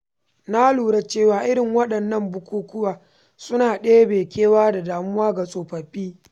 Na lura cewa irin waɗannan bukukuwa suna ɗebe kewa da damuwa ga tsofaffi.